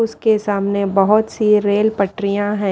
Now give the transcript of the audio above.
उसके सामने बहुत सी रेल पटरियां हैं।